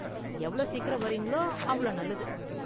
எவ்வளவு சீக்கிரம் வரீங்களோ அவ்ளோ நல்லது.